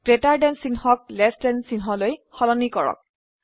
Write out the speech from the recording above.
greater than চিহ্নক less than চিহ্নলৈ সলনি কৰক